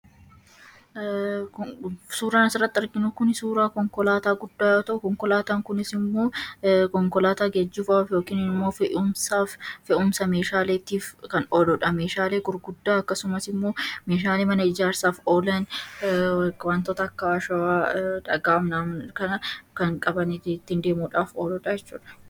Suuraan as irratti argamu suuraa Konkolaataa guddaa fe'umsaa fi akkasumas geejjibaaf kan fayyaduu dha. Innis wantoota garaa garaa baachuuf kan tajaajiluu dha.